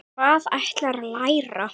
Hvað ætlarðu að læra?